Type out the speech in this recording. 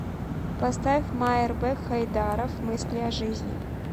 поставь майрбек хайдаров мысли о жизни